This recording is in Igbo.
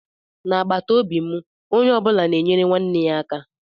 Na agbataobi mụ ónyé ọbula na enyere nwanne ya aka.